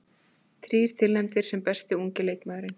Þrír tilnefndir sem besti ungi leikmaðurinn